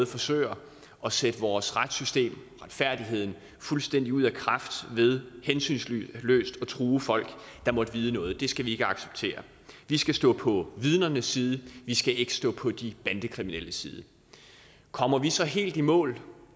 forsøger at sætte vores retssystem og retfærdigheden fuldstændig ud af kraft ved hensynsløst at true folk der måtte vide noget det skal vi ikke acceptere vi skal stå på vidnernes side vi skal ikke stå på de bandekriminelles side kommer vi så helt i mål